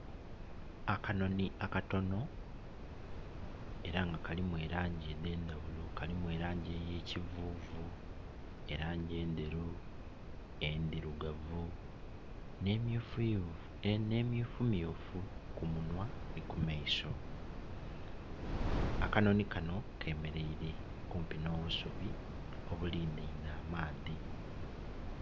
Akanoni akatono, era nga kalimu elangi edhe ndhaghulo. Kalimu elangi eyekivuvu, elangi endheru, endhirugavu ne emyufumyufu ku munhwa ni ku maiso. Akanoni kano kemereire kumpi nho busubi obilineinhe amaadhi